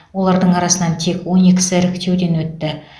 олардың арасынан тек он екісі іріктеуден өтті